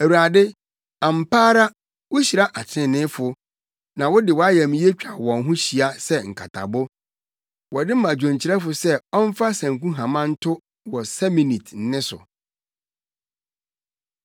Awurade, ampa ara, wuhyira atreneefo; na wode wʼayamye twa wɔn ho hyia sɛ nkatabo. Wɔde ma dwonkyerɛfo sɛ ɔmfa sankuhama nto wɔ Seminit nne so.